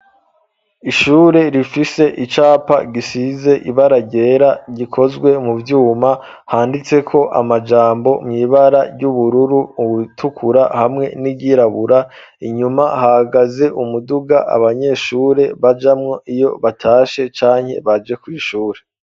Ishure rifise icapa gisize ibara ryera rikozwe mu vyuma handitseko amajambo mw’ibara ry'ubururu ubutukura hamwe n'iryirabura inyuma hahagaze umuduga abanyeshure bajamwo iyo batashe canke baje kw’ishure.